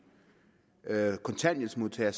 kontanthjælpsmodtagere